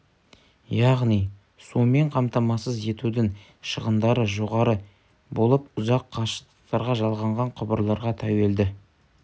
яғни сумен қамтамасыз етудің шығындары жоғары болып ұзақ қашықтықтарға жалғанған құбырларға тәуелді